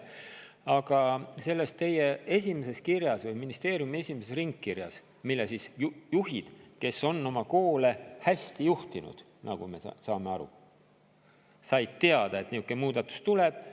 Aga teie ministeeriumi esimesest ringkirjast juhid, kes on oma koole hästi juhtinud, nagu me aru saame, said teada, et niisugune muudatus tuleb.